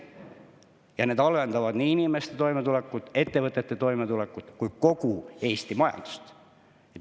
Ja need halvendavad nii inimeste toimetulekut, ettevõtete toimetulekut kui ka kogu Eesti majanduse.